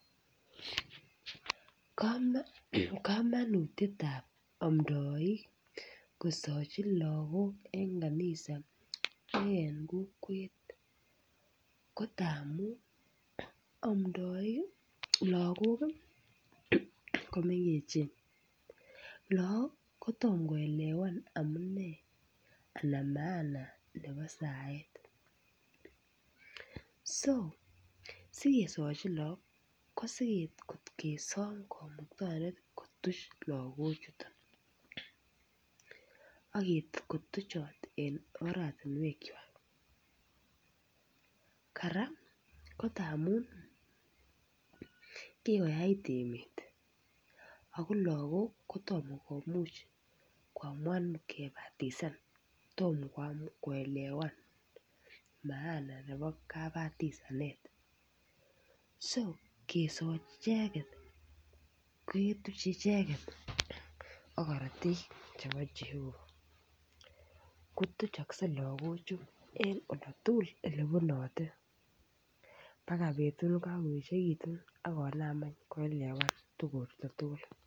Kamanutiet ab amdoik kosochi lagok en kanisa ak en kokwet ko angamun lagok ko mengechen lagok ko tom koelewan maana nebo saet so sikesochi lagok asi kesom kamuktaindet kotuch Lago chuton ak kotuchot en oratinwek kwak kora ko amun kikoyait emet ago lagok kotomo komuch koamuan kibatisan Tom koelewan maana nebo kabatisanet so kesochi icheget ketuche icheget ak korotik chebo jehova kotuchokse lagochu en oldo tugul Ole bunote agoi betut nekakoechekitu agoi betut nekakoechekitu ak konam any koelewan tuguchoto tugul